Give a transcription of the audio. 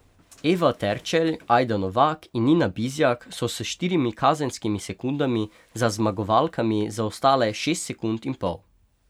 Eva Terčelj, Ajda Novak in Nina Bizjak so s štirimi kazenskimi sekundami za zmagovalkami zaostale šest sekund in pol.